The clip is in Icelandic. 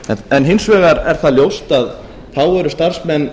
en hins vegar er það ljóst að þá eru starfsmenn